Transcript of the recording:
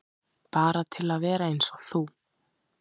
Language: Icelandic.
Bara til að vera eins og þú.